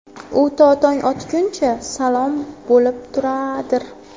U to tong otguncha salom bo‘lib turadir.